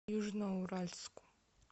южноуральску